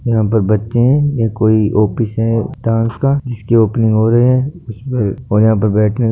यहाँ पर बच्चे है ये यहाँ कोई ऑफिस है डांस का जिसकी ओपनिंग हो रही है और यहाँ पर बैठने--